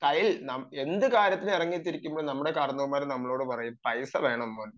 കയ്യിൽ എന്ത് കാര്യത്തിന് ഇറങ്ങിത്തിരിക്കുമ്പോഴും നമ്മുടെ കാരണവന്മാർ പറയും കയ്യിൽ പൈസ വേണം മോനെ എന്ന്